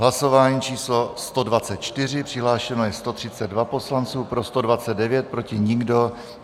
Hlasování číslo 124, přihlášeno je 132 poslanců, pro 129, proti nikdo.